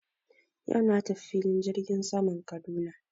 Yau na tafi filin jirgin saman Kaduna.